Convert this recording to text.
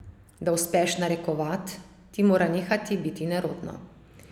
Da uspeš narekovat, ti mora nehati biti nerodno.